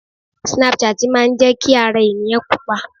Snapchat máa ń jẹ́ kí ara ènìyàn Pupa.